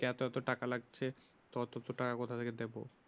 টাকা কোথা থেকে দেবো